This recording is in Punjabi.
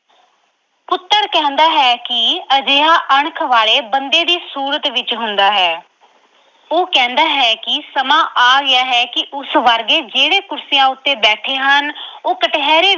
ਪੁੱਤਰ ਕਹਿੰਦਾ ਹੈ ਕਿ ਅਜਿਹਾ ਅਣਖ ਵਾਲੇ ਬੰਦੇ ਦੀ ਸੂਰਤ ਵਿੱਚ ਹੁੰਦਾ ਹੈ ਉਹ ਕਹਿੰਦਾ ਹੈ ਕਿ ਸਮਾਂ ਆ ਗਿਆ ਹੈ ਕਿ ਉਸ ਵਰਗੇ ਜਿਹੜੇ ਕੁਰਸੀਆਂ ਉੱਤੇ ਬੈਠੇ ਹੁੰਦੇ ਹਨ ਉਹ ਕਟਹਿਰੇ